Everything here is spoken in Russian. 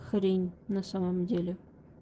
хрень на самом деле